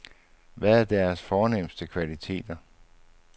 Hvad er deres fornemste kvaliteter?